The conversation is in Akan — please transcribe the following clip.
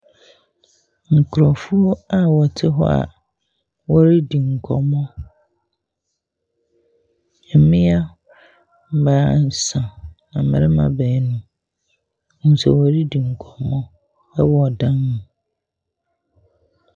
Nkurɔfoɔ a wɔte hɔ a wɔredi nkɔmmɔ. Mmea baasa, na mmarima baanu. Nso wɔredi nkɔmmɔ wɔn dan mu.